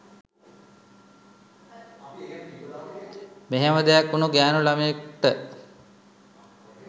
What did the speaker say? මෙහෙම දෙයක් වුණු ගෑණු ළමයෙක්ට